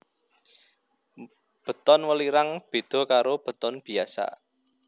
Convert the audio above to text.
Beton welirang beda karo beton biasa